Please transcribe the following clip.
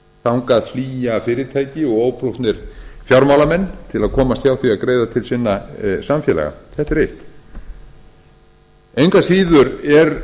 þangað flýja fyrirtæki og óprúttnir fjármálamenn til að komast hjá því að greiða til sinna samfélaga þetta er eitt engu að síður er